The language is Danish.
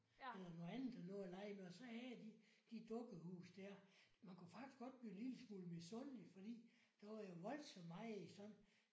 Eller noget andet og nå at lege med og så havde de de dukke huse der. Man kunne faktisk godt blive en lille smule misundelig fordi der var jo voldsomt meget i sådan